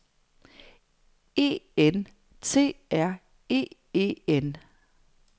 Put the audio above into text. E N T R E E N